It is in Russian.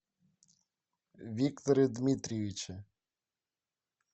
викторе дмитриевиче